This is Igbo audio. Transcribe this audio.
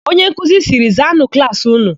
Onyenkuzi sịrị, "zaanụ klaasị ụnụ"!